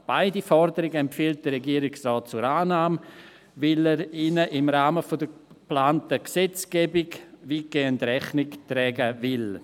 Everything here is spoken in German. Beide Forderungen empfiehlt die Regierung so zur Annahme, weil sie ihnen im Rahmen der geplanten Gesetzgebung weitgehend Rechnung tragen will.